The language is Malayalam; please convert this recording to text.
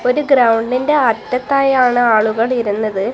ഒരു ഗ്രൗണ്ടിൻ്റെ അറ്റത്തായി ആണ് ആളുകൾ ഇരുന്നത്.